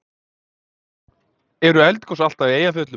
Eru eldgos alltaf í eldfjöllum?